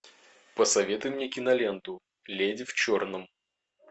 посоветуй мне киноленту леди в черном